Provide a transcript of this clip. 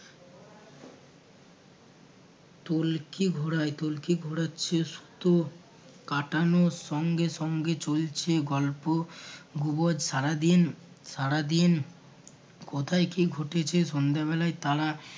তলকি ঘোরায় তলকি ঘোরাচ্ছে সুতো কাটানোর সঙ্গে সঙ্গে চলছে গল্প গুবজ সারাদিন সারাদিন কোথায় কী ঘটেছে সন্ধ্যে বেলায় তারা